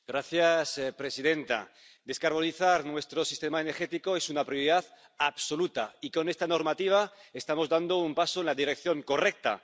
Señora presidenta, descarbonizar nuestro sistema energético es una prioridad absoluta, y con esta normativa estamos dando un paso en la dirección correcta.